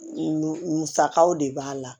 Musakaw de b'a la